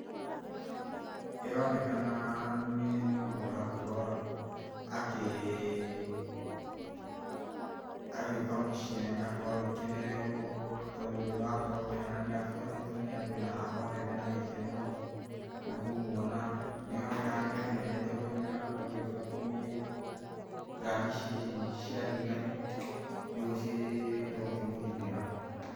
Ĩronekana nĩ mũndũ ũrakorwo akĩĩ ĩ[paũse] agiũka mũciĩ na nĩarokorwo agikenenerwo tondũ nĩ ũrakorwo ũkĩona nĩ abũatitwo nĩ andũ na othe mena gĩkeno nĩkũmuona. Nĩaroneka nĩ mũnene tondũ nĩarakorwo agĩbũatwo nĩ ngari ici cia thigari nĩgũo cihote gũkĩmũgitĩra.